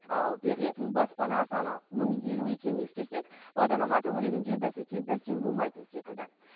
ал берілетін баспана саны мың елу екенін ескерсек бағдарлама төңірегінде бәсеке бәсең болмайтын секілді